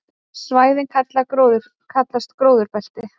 Svæðin kallast gróðurbelti.